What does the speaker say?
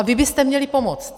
A vy byste měli pomoct!